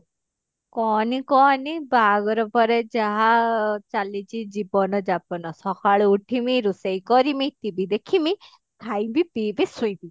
କହନି କହନି ବାହାଘର ପରେ ଯାହା ଚାଲିଛି ଜୀବନ ଯାପନ ସକାଳୁ ଉଠିମି ରୋଷେଇ କରିମି TV ଦେଖିମି ଖାଇବି ପିଇବି ଶୋଇବି